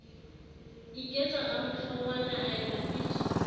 iketsa ramohlongwana a epa pitso